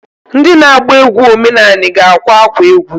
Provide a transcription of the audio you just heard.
Ndị na-agba egwu omenanị ga-akwa akwa egwu.